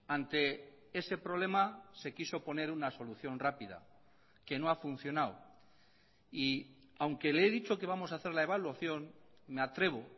ante ese problema se quiso poner una solución rápida que no ha funcionado y aunque le he dicho que vamos a hacer la evaluación me atrevo